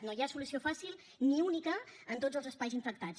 no hi ha solució fàcil ni única en tots els espais infectats